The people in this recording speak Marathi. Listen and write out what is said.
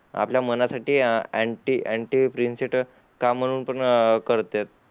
आपल्या मन साठी एन्टी एन्टीप्रिन्सीटर का म्हणून पण करते